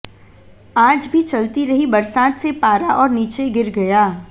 आज भी चलती रही बरसात से पारा और नीचे गिर गया